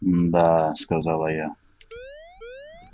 мда сказала я